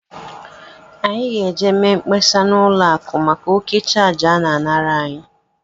Anyị ga-eje mee mkpesa n' ụlọ akụ maka òkè chárge ana- anara anyị.